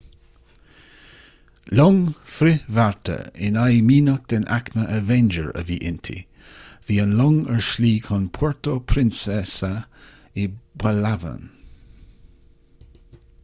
long frithbhearta in aghaidh mianach den aicme avenger a bhí inti bhí an long ar a slí chun puerto princesa i bpalawan